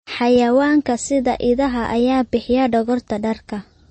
Xayawaanka sida idaha ayaa bixiya dhogorta dharka.